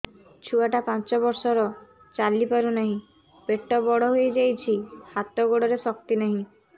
ଛୁଆଟା ପାଞ୍ଚ ବର୍ଷର ଚାଲି ପାରୁ ନାହି ପେଟ ବଡ଼ ହୋଇ ଯାଇଛି ହାତ ଗୋଡ଼ରେ ଶକ୍ତି ନାହିଁ